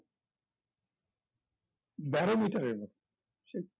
barometer এর মত সে